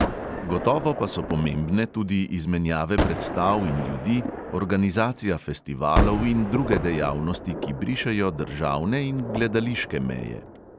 Gotovo pa so pomembne tudi izmenjave predstav in ljudi, organizacija festivalov in druge dejavnosti, ki brišejo državne in gledališke meje.